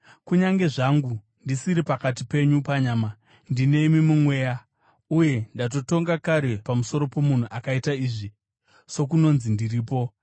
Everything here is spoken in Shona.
Kunyange zvangu ndisiri pakati penyu panyama, ndinemi mumweya. Uye ndatotonga kare pamusoro pomunhu akaita izvi, sokunonzi ndiripo.